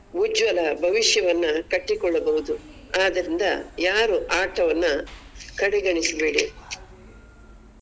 ಉಜ್ವಲ ಭವಿಷ್ಯವನ್ನ ಕಟ್ಟಿಕೊಳ್ಳಬಹುದು ಆದರಿಂದ ಯಾರು ಆಟವನ್ನ ಕಡೆಗಣಿಸ್ಬೇಡಿ.